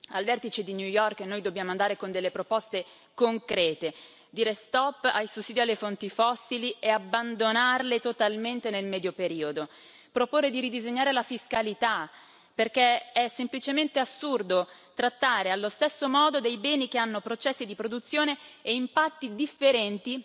Al vertice di New York noi dobbiamo andare con delle proposte concrete, dire stop ai sussidi alle fonti fossili e abbandonarle totalmente nel medio periodo, proporre di ridisegnare la fiscalità, perché è semplicemente assurdo trattare allo stesso modo dei beni che hanno processi di produzione e impatti differenti